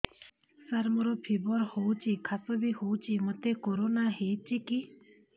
ସାର ମୋର ଫିବର ହଉଚି ଖାସ ବି ହଉଚି ମୋତେ କରୋନା ହେଇଚି କି